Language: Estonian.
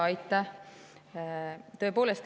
Aitäh!